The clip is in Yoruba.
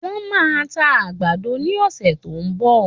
Wọ́n máa ta àgbàdo ní ọ̀sẹ̀ tó ń bọ̀.